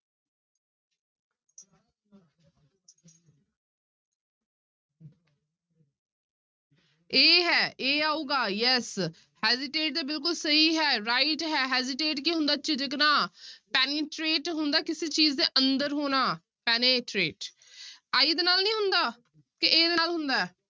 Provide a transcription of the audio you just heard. a ਹੈ a ਆਉਗਾ yes hesitate ਤੇ ਬਿਲਕੁਲ ਸਹੀ ਹੈ right ਹੈ hesitate ਕੀ ਹੁੰਦਾ ਝਿਜਕਣਾ penetrate ਹੁੰਦਾ ਹੈ ਕਿਸੇ ਚੀਜ਼ ਦੇ ਅੰਦਰ ਹੋਣਾ penetrate i ਦੇ ਨਾਲ ਨੀ ਹੁੰਦਾ ਤੇ a ਦੇ ਨਾਲ ਹੁੰਦਾ ਹੈ।